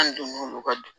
An donn'o ka